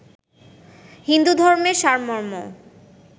হিন্দুধর্মের সারমর্ম